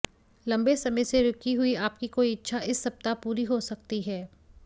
लंबे समय से रुकी हुई आपकी कोई इच्छा इस सप्ताह पूरी हो सकती है